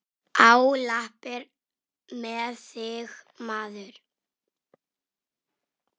Á lappir með þig, maður!